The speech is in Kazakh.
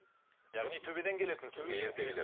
яғни төбеден келетін сізге ертегілер